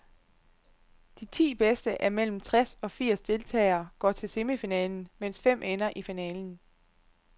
De ti bedste af mellem tres og firs deltagere går til semifinalen, mens fem ender i finalen.